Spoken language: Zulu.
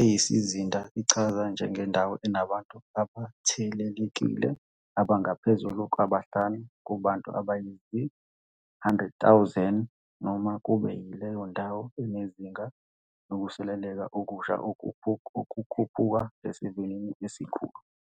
eyisizinda ichazwa njengendawo enabantu abathelelekile abangaphezulu kwabahlanu kubantu abayizi-100 000 noma kube yileyo ndawo enezinga lokusuleleka okusha okukhuphuka ngesivinini esikhulu.